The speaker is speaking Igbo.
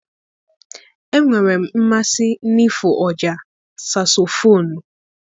Enwere m mmasị n'ịfụ ọjà sasofonu.